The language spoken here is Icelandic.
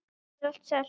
Héðan er allt selt.